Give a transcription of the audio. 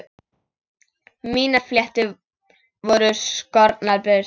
Mínar fléttur voru skornar burt.